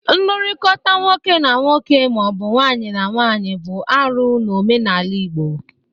Nlụrịkọta nwoke na nwoke ma ọ bụ nwaanyị na nwaanyị bụ arụ n'omenala Igbo.